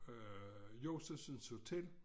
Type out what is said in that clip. Øh Josefsens Hotel